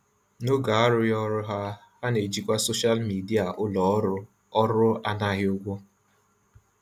N'oge arụghị ọrụ ha, ha na-ejikwa soshal midịa ulọọrụ ọrụ anaghị ụgwọ.